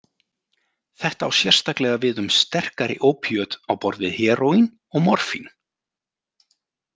Þetta á sérstaklega við um sterkari ópíöt á borð við heróín og morfín.